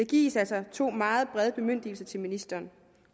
gives altså to meget brede bemyndigelser til ministeren